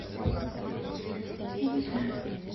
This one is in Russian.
я не знаю